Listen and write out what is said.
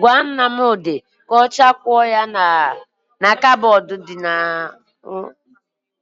Gwa Nnamdị ka ọ chọọ akwụkwọ ya na kabọọdụ dị na